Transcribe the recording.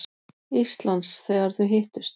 Íslands, þegar þau hittust.